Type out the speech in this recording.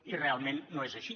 i realment no és així